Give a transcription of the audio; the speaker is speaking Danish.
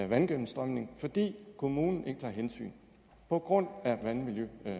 vandgennemstrømningen fordi kommunen ikke tager hensyn på grund af vandmiljøloven